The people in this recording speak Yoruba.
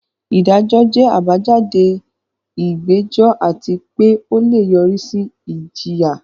Ìdájọ́ jẹ́ àbájáde ìgbẹ́jọ́ àti pé ó lè yọrí sí ìjìyà.